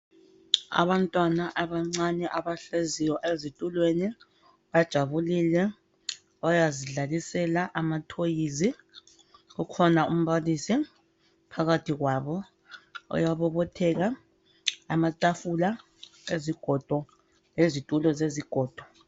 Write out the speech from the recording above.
Abantwana abancane abahleziyo ezitulweni bajabulile bayazidlalisela amatoys ukhona umbalisi phakathi kwabo uyabobotheka, amatafula ezigodo lezitulo zezigodo.